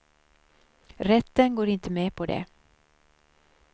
Rätten går inte med på det.